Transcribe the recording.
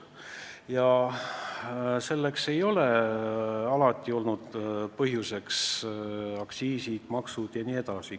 Ja põhjuseks ei ole sugugi vaid aktsiisid ja käibemaksud.